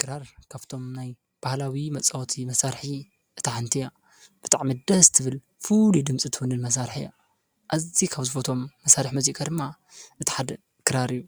ክራር ካብቶም ናይ ባህላዊ መፃወቲ መሳርሒ እታ ሓንቲ እያ፡፡ ብጣዕሚ ደስ ትብል ፍሉይ ድምፂ ትውንን መሳርሒ እያ፡፡ ኣዝዩ ካብ ዝፈትዎም መሳርሒ ሙዚቃ ድማ እቲ ሓደ ክራር እዩ፡፡